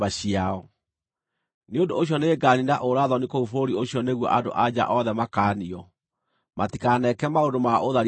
“Nĩ ũndũ ũcio nĩnganiina ũũra-thoni kũu bũrũri ũcio nĩguo andũ-a-nja othe makaanio, matikaneke maũndũ ma ũtharia ta inyuĩ.